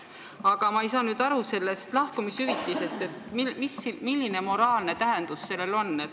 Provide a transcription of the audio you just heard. Aga ma ei saa aru sellest lahkumishüvitisest, et milline moraalne tähendus sellel on.